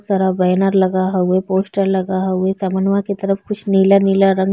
बहुत सारा बैनर लगा हवे पोस्टर लगा हवे असमनवा के तरफ कुछ नीला-नीला रंग --